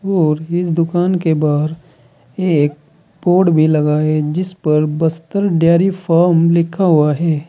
और इस दुकान के बाहर एक बोर्ड भी लगा है जिस पर बस्तर डेयरी फार्म लिखा हुआ है।